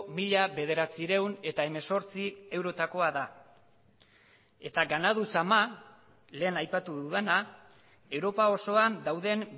mila bederatziehun eta hemezortzi eurotakoa da eta ganadu zama lehen aipatu dudana europa osoan dauden